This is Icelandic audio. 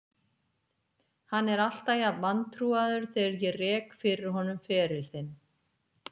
Hann er alltaf jafn vantrúaður þegar ég rek fyrir honum feril þinn.